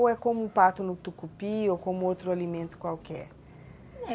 Ou é como o pato no tucupi ou como outro alimento qualquer?